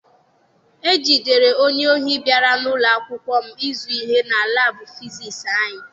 E jidere onye ohi bịara n'ụlọ akwụkwọ m ịzụ ihe na laabụ fisiisi anyị.